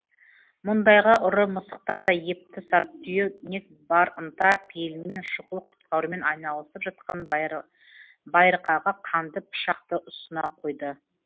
мұндайға ұры мысықтан да епті сартүйнек бар ынта пейілімен шұғыл құтқарумен айналысып жатқан байырқаға қанды пышақты ұсына қойды